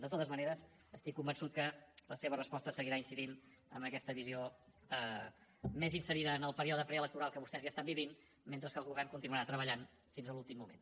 de totes maneres estic convençut que la seva resposta seguirà incidint amb aquesta visió més inserida en el període preelectoral que vostès ja estan vivint mentre que el govern continuarà treballant fins a l’últim moment